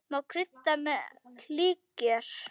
Má krydda með líkjör.